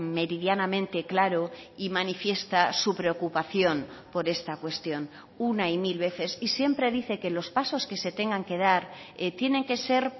meridianamente claro y manifiesta su preocupación por esta cuestión una y mil veces y siempre dice que los pasos que se tengan que dar tienen que ser